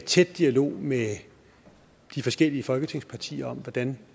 tæt dialog med de forskellige folketingspartier om hvordan